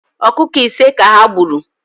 Ọkụkọ ise ka ha gburu